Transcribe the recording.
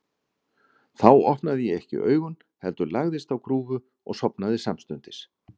Þá opnaði ég ekki augun, heldur lagðist á grúfu og sofnaði samstundis.